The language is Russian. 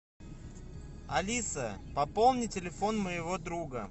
алиса пополни телефон моего друга